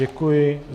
Děkuji.